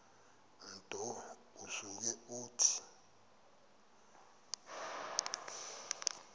nto usuke uthi